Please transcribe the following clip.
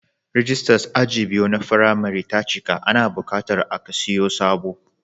Rijistas aji biyu na firimari ta cika, ana buƙatar a kasiyo sababbi.